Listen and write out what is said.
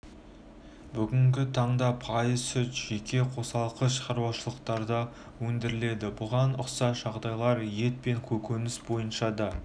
бүгінгі таңда пайыз сүт жеке қосалқы шаруашылықтарда өндіріледі бұған ұқсас жағдайлар ет пен көкөніс бойынша да